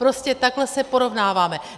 Prostě takhle se porovnáváme.